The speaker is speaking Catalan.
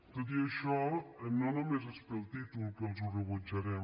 tot i això no només és pel títol que els ho rebutjarem